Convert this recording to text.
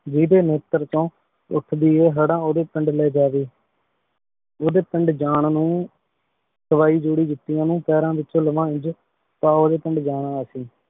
ਜੇਦੇ ਨੇਤ੍ਰ ਚੋ ਉਠਦੀ ਹੈ ਹੜਾ ਓਦੇ ਪਿੰਡ ਲੇ ਜਾਵੇ ਓਦੇ ਪਿੰਡ ਜਾਂਣ ਨੂ ਸਵਾਈ ਜੋੜੀ ਜੁਤਿਯਾਂ ਨੂ ਪੈਰਾਂ ਵਿਚੋਂ ਲਵਾ ਇੰਜ ਤਾਂ ਓਦੇ ਪਿੰਡ ਜਾਣਾ ਅਸੀਂ।